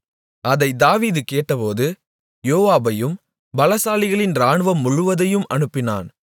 அதைத் தாவீது கேட்டபோது யோவாபையும் பலசாலிகளின் இராணுவம் முழுவதையும் அனுப்பினான்